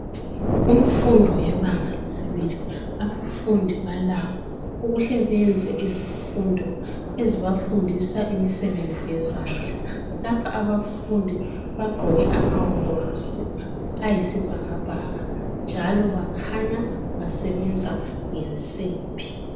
Imfundo yebanga lesibili, abafundi balakho ukuhle benze izifundo ezibafundisa im'sebenzi yezandla. Lapha abafundi bagqoke amawovorosi ayisibhakabhaka, njalo bakhanya basebenza ngensimbi.